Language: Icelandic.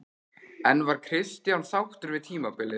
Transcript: En var Kristján sáttur við tímabilið?